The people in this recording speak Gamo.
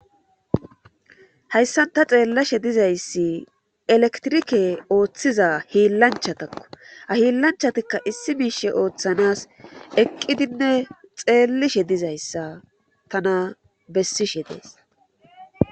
hayssan ta xeellashe dizayssi elektirike ooththiza hiillanchatakko ahiillanchatikka issi miishe ooththanas eqqidinne xeellishe dizayssa tana bessishe dees